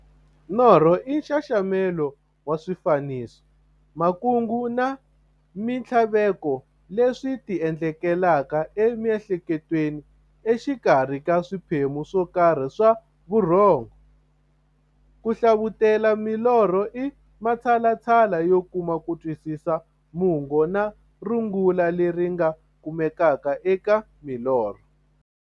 Norho i nxaxamelo wa swifaniso, makungu na minthlaveko leswi ti endlekelaka e mi'hleketweni exikarhi ka swiphemu swokarhi swa vurhongo. Ku hlavutela milorho i matshalatshala yo kuma kutwisisa mungo na rungula leri nga kumekaka eka milorho.